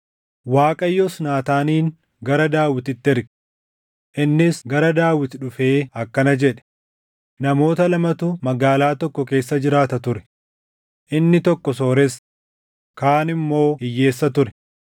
Waaqayyos Naataanin gara Daawititti erge. Innis gara Daawit dhufee akkana jedhe; “Namoota lamatu magaalaa tokko keessa jiraata ture; inni tokko sooressa, kaan immoo hiyyeessa ture.